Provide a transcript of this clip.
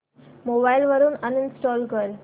mobile वरून uninstall कर